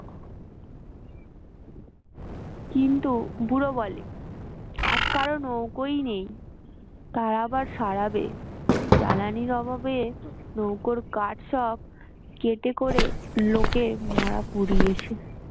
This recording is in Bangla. কিন্তু বুড়ো বলে আজ কারো নৌকোই নেই তার আবার সারাবে জ্বালানীর অভাবে নৌকোর কাঠ সব কেটে করে লোকে মরা পুড়িয়েছে